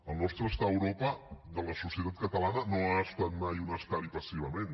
el nostre estar a europa de la societat catalana no ha estat mai un estar hi passivament